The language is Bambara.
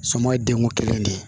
Sɔmɔ ye denko kelen de